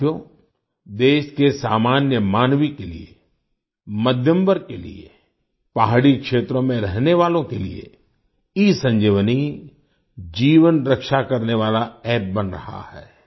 साथियो देश के सामान्य मानवी के लिए मध्यम वर्ग के लिए पहाड़ी क्षेत्रों में रहने वालों के लिए ईसंजीवनी जीवन रक्षा करने वाला App बन रहा है